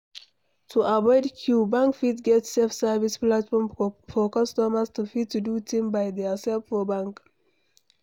To avoid queue, bank fit get self service platform for customer to fit do thing by theirself for bank